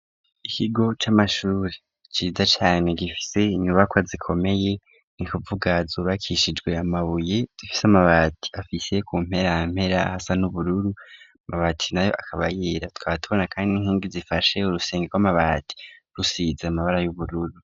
Ikigo c'amashure ciza cane gifise inyubako zikomeye nikuvuga zubakishijwe amabuye zifise amabati afise ku mperampera asa n'ubururu amabati nayo akaba yera tukaba tubona kandi inkingi zifashe urusenge rw'amabati rusize amabara y'ubururu.